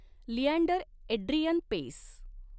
Leander Adrian Paes